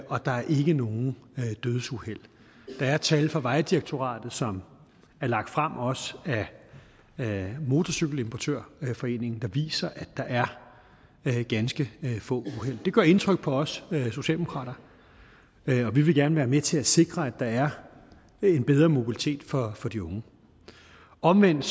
og der er ikke nogen dødsuheld der er tal fra vejdirektoratet som er lagt frem også af motorcykel importør foreningen der viser at der er ganske få uheld det gør indtryk på os socialdemokrater og vi vil gerne være med til at sikre at der er en bedre mobilitet for for de unge omvendt